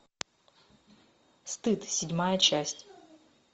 стыд седьмая часть